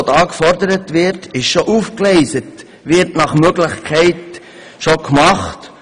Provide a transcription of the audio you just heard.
Alles, was hier gefordert wird, ist bereits aufgegleist und wird nach Möglichkeit bereits gemacht.